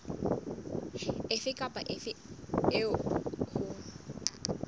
efe kapa efe eo ho